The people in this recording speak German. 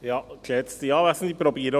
Kommissionspräsident der FiKo.